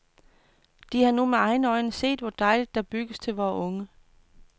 De har nu med egne øjne set, hvor dejligt der bygges til vore unge.